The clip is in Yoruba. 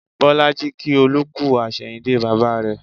Bolaji kí Olú kú àsẹ̀yìndè bàbà rẹ